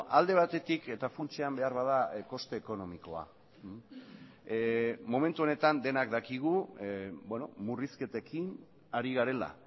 alde batetik eta funtsean beharbada koste ekonomikoa momentu honetan denok dakigu murrizketekin ari garela